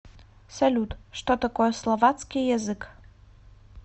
салют что такое словацкий язык